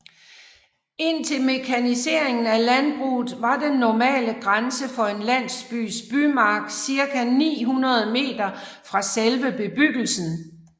Indtil mekaniseringen af landbruget var den normale grænse for en landsbys bymark cirka 900 meter fra selve bebyggelsen